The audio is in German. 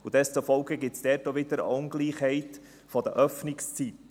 Deshalb gibt es dann auch wieder eine Ungleichheit der Öffnungszeiten.